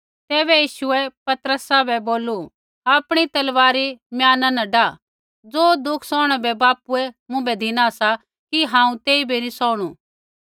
तैबै यीशुऐ पतरसा बै बोलू आपणी तलवार म्याना न डाआ ज़ो दुःखा सौहणै बै बापूऐ मुँभै धिना सा कि हांऊँ तेइबै नी सौहणु